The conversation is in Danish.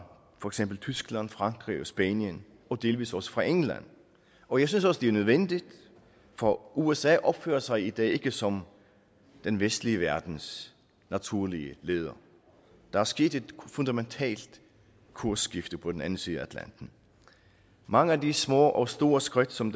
tyskland frankrig og spanien og delvis også fra england og jeg synes også det er nødvendigt for usa opfører sig i dag ikke som den vestlige verdens naturlige leder der er sket et fundamentalt kursskifte på den anden side af atlanten mange af de små og store skridt som